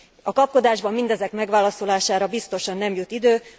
A kapkodásban mindezek megválaszolására biztosan nem jut idő.